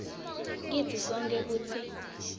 kitsi sonkhe kutsi